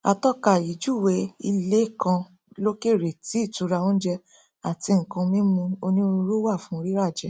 atọka yìí júwèé ilé kan lókèrè tí ìtura oúnjẹ àti nnkan mímu onírúirú wà fún riràjẹ